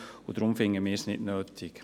Deshalb halten wir dies nicht für nötig.